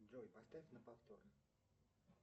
джой поставь на повтор